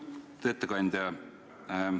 Lugupeetud ettekandja!